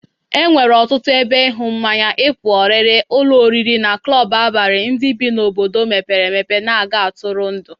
E nwere ọtụtụ ebe ịñụ mmanya, ịpụ ọrịrị, ụlọ oriri na klọbụ abalị ndị bi n'obodo mepere empe na-aga ntụrụndụ.